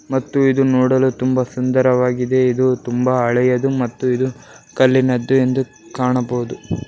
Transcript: ಮತ್ತು ಇದು ನೋಡಲು ತುಂಬಾ ಸುಂದರವಾಗಿದೆ ಇದು ತುಂಬಾ ಹಳೆಯದು ಮತ್ತು ಇದು ಕಲ್ಲಿನದ್ದು ಎಂದು ಕಾಣಬಹುದು .